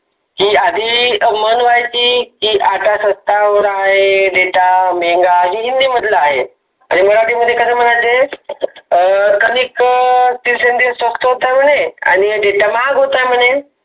की आधी मंग रायती आता स्वस्त वर आहे data मेंगा असा हिन्दी मध्ये आहे. आणि मराठी मध्ये कस म्हणायचे connect सोपसोप स्वस्ता आहे म्हणे आणि data महाग होत आहे मने.